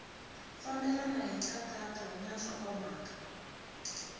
fambelena hi nkhaqato na nhlokomhaka